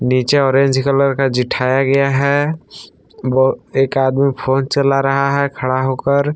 नीचे orange colour का जिठाया गया है एक आदमी फोन चला रहा है खड़ा होकर।